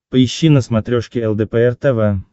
поищи на смотрешке лдпр тв